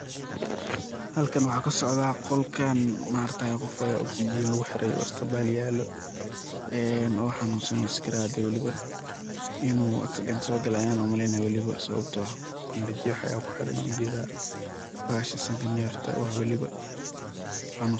Halkan waxa kasocda qolkan maragti ya qof aya oxygen luguxiray oo isbital yelo oo xanunsan oo sakarayad wiliba inu accident sogasli ayan umaleyna, wiliba sababto ah banjedyo aya kuhiran an ujeda bahasha sanka nefta oo ah waliba.